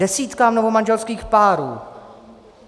Desítkám novomanželských párů